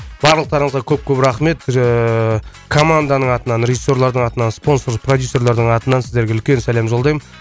барлықтарыңызға көп көп рахмет ыыы команданың атынан режиссерлардың атынан спонсор продюссерлардың атынан сіздерге үлкен сәлем жолдаймын